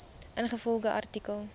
ingevolge artikel